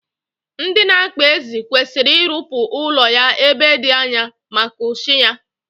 Ndị na-akpa ezi kwesiri irụpụ ụlọ ya ebe di anya, maka ushi ya